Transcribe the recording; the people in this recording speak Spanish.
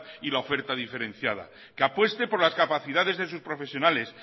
y la oferta diferenciada que apueste por las capacidades de sus profesionales